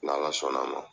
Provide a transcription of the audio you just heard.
N'ala sɔnn'a ma